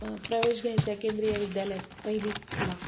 प्रवेश घ्यायचाय केंद्रीय विद्यालयात, पहिलीला